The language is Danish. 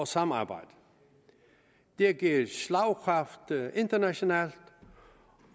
samarbejde det har givet slagkraft internationalt